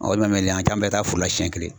an bɛɛ taa foro la siɲɛ kelen.